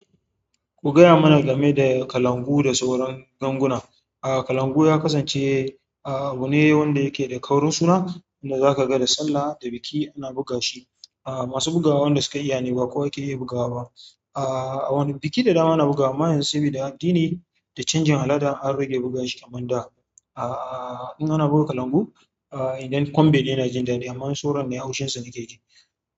Ku gaya mana game da kalangu da sauran ganguna. Aaa kalangu ya kasance, aa abu ne wanda yake da ƙaurin suna kuma zaka ga da sallah da biki ana buga shi. Aaa masu bugawa wanda suka iyane ba kowa yake iya bugawa ba. Aa a wani biki da dama ana bugawa, amma yanzu sabida addini da canjin al'ada an rage buga shi kamar da. In ana buga kalangu, idan ƙwanbe ne ina jin daɗi amma in sauran ne haushin su nake ji.